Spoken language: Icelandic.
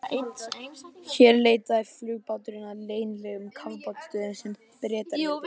Ég svaf í skúrum, snjósköflum, bílhræjum, í húsasundum.